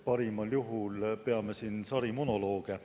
Parimal juhul peame siin sarimonolooge.